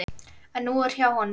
En hún er hjá honum.